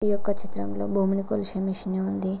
ఈ యొక్క చిత్రం లో భూమిని కొలిసే మెషీని ఉంది.